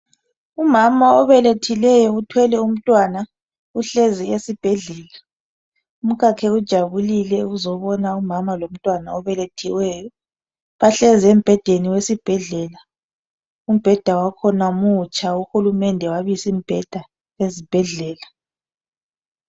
Umama obelethileyo uthwele umntwana uhlezi esibhedlela. Umkhakhe ujabulile ukuzobona umama lomntwana obelethiweyo. Bahlezi embhedeni wesibhedlela. Umbheda wakhona mutsha. Uhulumende wabisimibheda ezibhedlela.